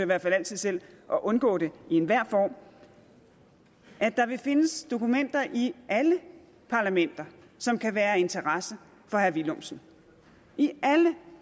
hvert fald altid selv at undgå det i enhver form at der vil findes dokumenter i alle parlamenter som kan være af interesse for herre villumsen i alle